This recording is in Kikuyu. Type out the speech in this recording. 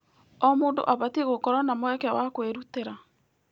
O mũndũ abatiĩ gũkorwo na mweke wa kwĩrutĩra.